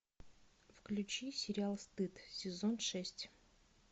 включи сериал стыд сезон шесть